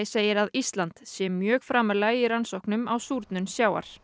segir að Ísland sé mjög framarlega í rannsóknum á súrnun sjávar